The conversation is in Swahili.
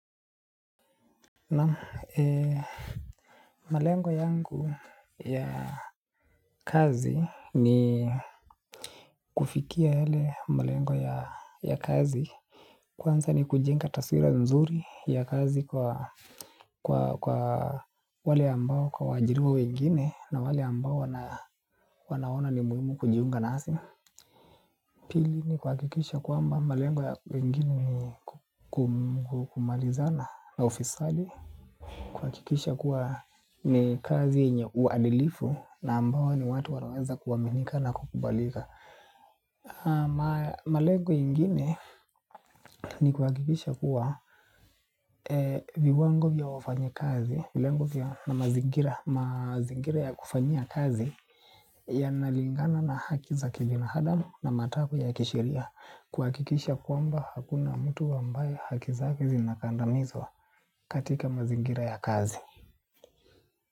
Na ee malengo yangu ya kazi ni kufikia yale malengo ya kazi. Kwanza ni kujenga taswira mzuri ya kazi kwa wale ambao kwa waajiriwa wengine na wale ambao wanaona ni muhimu kujiunga nasi. Pili ni kuhakikisha kwamba malengo ya wengine ni kumalizana na ufisadi. Kuhakikisha kuwa ni kazi yenye uadilifu na ambao ni watu wanaweza kuaminika na kukubalika. Malengo yengine ni kuhakikisha kuwa viwango vya wafanyikazi na mazingira ya kufanyia kazi yanalingana na haki za kibinadamu na matakwa ya kisheria kuhakikisha kwamba hakuna mtu ambaye haki zake zinakandamizwa katika mazingira ya kazi.